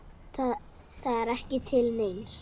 Það er ekki til neins.